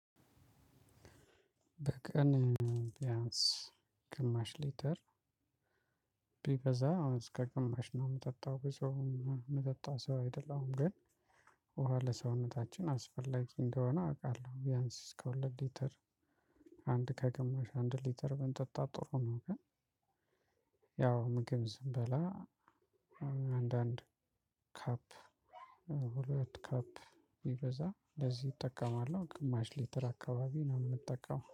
በቀን ቢያንስ ግማሽ ሊተር። ቢበዛ እስከ ግማሽ ነው የምጠጣው ብዙ የምጠጣ ሰው አይደለም ግን ውሃ ለሰውነታችን አስፈላጊ እንደሆነ አውቃለሁ። ቢያንስ እስከ ሁለት ሊተር አንድ ከግማሽ አንድ ሊተር ብንጠጣ ጥሩ ነው። ግን ያው ምግብ ስንበላ አንዳንድ ካፕ ሁለት ካፕ ቢበዛ ለዚህ እጠቀማለሁ ግማሽ ሊትር አካባቢ ነው የምጠቀመው